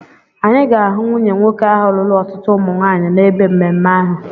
Anyị ga-ahụ nwunye nwoke ahụ lụrụ ọtụtụ umu nwaanyị n'ebe mmemme ahụ.